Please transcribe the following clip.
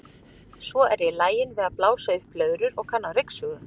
Svo er ég lagin við að blása upp blöðrur og og kann á ryksugu.